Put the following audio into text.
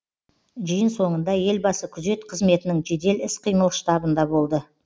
жиын соңында елбасы күзет қызметінің жедел іс қимыл штабында болды